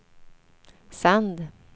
sänd